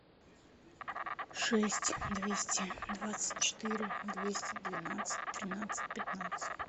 шесть двести двадцать четыре двести двенадцать тринадцать пятнадцать